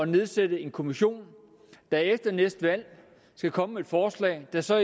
nedsætte en kommission der efter næste valg skal komme med et forslag der så